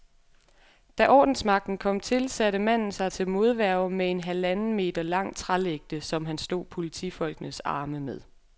Da ordensmagten kom til, satte manden sig til modværge med en halvanden meter lang trælægte, som han slog politifolkenes arme med.